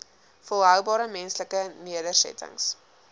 volhoubare menslike nedersettings